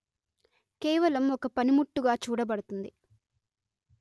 కేవలం ఒక పనిముట్టుగా చూడబడుతుంది